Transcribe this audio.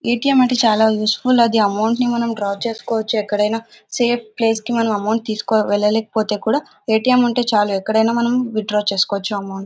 ఏ. TM. అంటే చాలా useful ది అమౌంట్ ని డ్రా చేయడానికి చేసుకోవచ్చు ఎక్కడైనా సేఫ్ ప్లేస్ కి అమౌంట్ తీసుకెళ్లకపోయినా అక్కడ ఏ.టీ.ఎం. ఉంటే చాలు విత్ డ్రా చేసుకోవచ్చు అమౌంట్ .